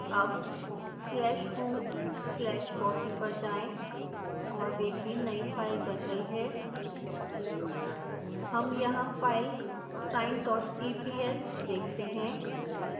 अब slash home slash fossee पर जाएं और देखें नई फाइल बन गई है हम यहाँ फाइल sineeps देखते हैं